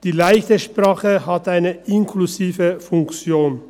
Die «leichte Sprache» hat eine inklusive Funktion.